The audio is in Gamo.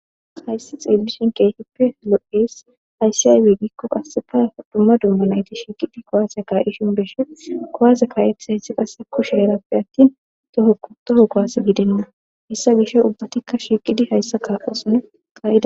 Hayisi xelishin keehippe loo'es. Hayisi ayibe giko qaseka dumma dumma na'it shiqidi kuwase kaishe beeshes. Kuwase ka'etiyayisi qase kushera atin toho kuwase gidena. Heysa gishaw ubbatika shiqidi hayisa kaosona ka'ida.